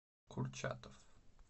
курчатов